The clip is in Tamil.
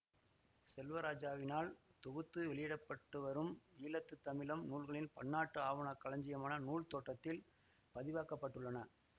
செல்வராஜாவினால் தொகுத்து வெளியிடப்பட்டுவரும் ஈழத்து தமிழ் நூல்களின் பன்னாட்டு ஆவண களஞ்சியமான நூல் தேட்டத்தில் பதிவாக்கப்பட்டுள்ளன